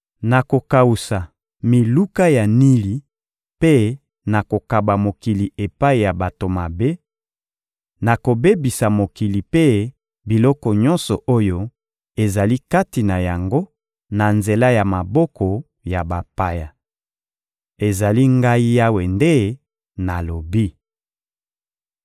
Nakokawusa miluka ya Nili mpe nakokaba mokili epai ya bato mabe; nakobebisa mokili mpe biloko nyonso oyo ezali kati na yango na nzela ya maboko ya bapaya. Ezali Ngai Yawe nde nalobi.